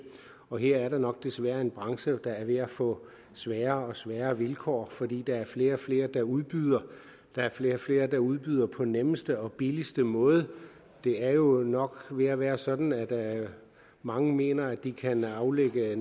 og her er der nok desværre en branche der er ved at få sværere og sværere vilkår fordi der er flere og flere der udbyder og der er flere og flere der udbyder på den nemmeste og billigste måde det er jo nok ved at være sådan at mange mener at de næsten kan aflægge